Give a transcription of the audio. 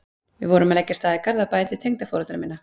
Við vorum að leggja af stað í Garðabæinn til tengdaforeldra minna